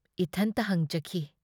ꯏꯊꯟꯇ ꯍꯪꯖꯈꯤ ꯫